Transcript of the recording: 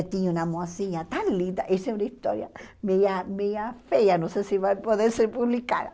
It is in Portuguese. Tinha uma mocinha tão linda, essa é uma história meia meia feia, não sei se vai poder ser publicada.